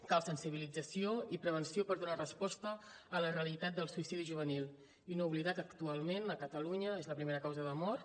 cal sensibilització i prevenció per donar resposta a la realitat del suïcidi juvenil i no oblidar que actualment a catalunya és la primera causa de mort